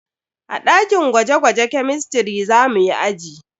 A dakin gwaje-gwaje kemistiri za muyi aji.